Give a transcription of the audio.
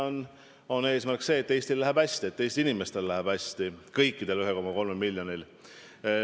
See on eesmärk, et Eestil läheb hästi ja et Eesti inimestel läheb hästi, kõigil 1,3 miljonil.